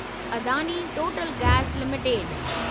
Adani Total gas limited